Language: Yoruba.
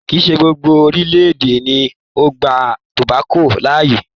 Kìí ṣe gbogbo orílé-èdè ni ó gba tòbákò láàyè